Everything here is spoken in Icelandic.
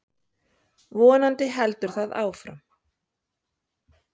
Vonandi heldur það áfram.